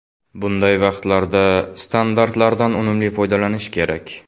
Bunday vaqtlarda standartlardan unumli foydalanish kerak.